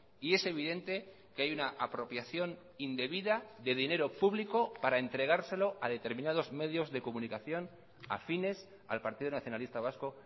y es evidente que hay una apropiación indebida de dinero público para entregárselo a determinados medios de comunicación afines al partido nacionalista vasco